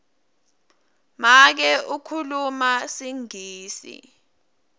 make ukhuluma singisi